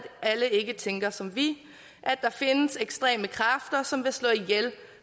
alle ikke tænker som vi at der findes ekstreme kræfter som vil slå ihjel